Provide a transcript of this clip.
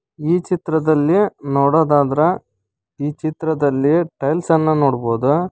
ಈ ಚಿತ್ರದಲ್ಲಿ ನೋಡೋದಾದ್ರ ಚಿತ್ರದಲ್ಲಿ ಟೈಲ್ಸ್ ಅನ್ನ ನೋಡ್ಬೋದು.